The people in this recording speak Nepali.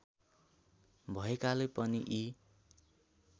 भएकाले पनि यी